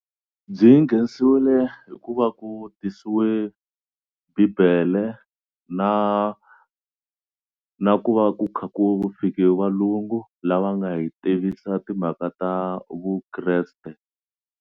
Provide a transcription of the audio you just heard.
Byi nghenisiwile hi ku va ku tisiwe bibele na na ku va ku kha ku fike valungu lava nga hi tivisa timhaka ta vukreste.